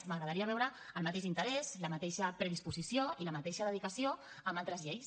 m’agradaria veure el mateix interès la mateixa predisposició i la mateixa dedicació amb altres lleis